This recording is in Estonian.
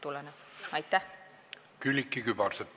Külliki Kübarsepp, palun!